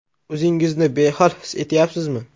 O‘zingizni behol his etyapsizmi?